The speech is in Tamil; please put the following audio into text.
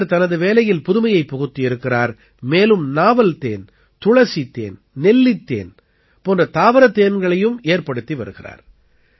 இவர் தனது வேலையில் புதுமையைப் புகுத்தியிருக்கிறார் மேலும் நாவல் தேன் துளசி தேன் நெல்லித் தேன் போன்ற தாவரத் தேன்களையும் ஏற்படுத்தி வருகிறார்